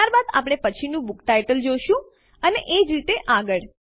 ત્યારબાદ આપણે પછીનું બુક ટાઇટલ જોશું અને એજ રીતે આગળ